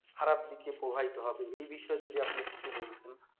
খারাপ দিকে প্রবাহিত হবে এই বিষয়ে যদি আপনি কিছু বলতেন